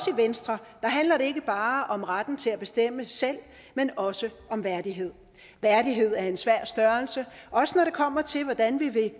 venstre handler det ikke bare om retten til at bestemme selv men også om værdighed værdighed er en svær størrelse også når det kommer til hvordan vi vil